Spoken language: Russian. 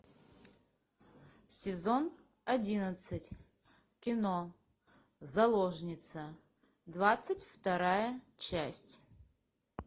сезон одиннадцать кино заложница двадцать вторая часть